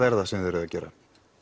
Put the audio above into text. er það sem þið eruð að gera